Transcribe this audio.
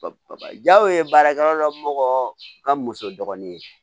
Jaw ye baarakɛla dɔ ka muso dɔgɔnin ye